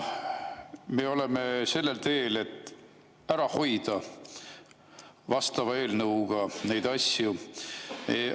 Me oleme sellel teel, et vastava eelnõuga neid asju ära hoida.